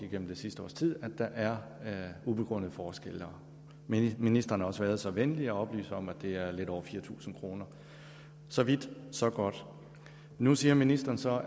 igennem det sidste års tid at der er ubegrundede forskelle ministeren har også været så venlig at oplyse om at det er lidt over fire tusind kroner så vidt så godt nu siger ministeren så